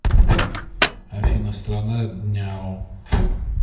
афина страна дняо